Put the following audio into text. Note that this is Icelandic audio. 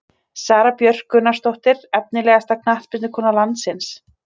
Sara Björk Gunnarsdóttir Efnilegasta knattspyrnukona landsins?